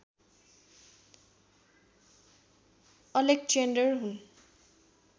Alexander हुन्